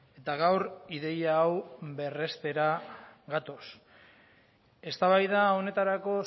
eta gaur ideia hau berrestera gatoz eztabaida honetarako